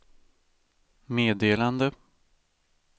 meddelande